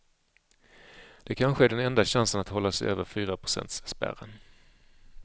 Det kanske är den enda chansen att hålla sig över fyraprocentsspärren.